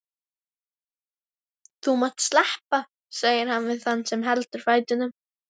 Þú mátt sleppa, segir hann við þann sem heldur fætinum.